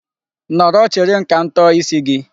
Nọrọ chere m ka m tọọ isi gị.